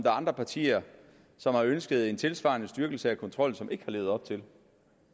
er andre partier som har ønsket en tilsvarende styrkelse af kontrollen og som ikke har levet op til den